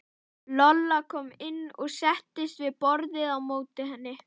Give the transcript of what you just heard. Lolla kom inn og settist við borðið á móti henni.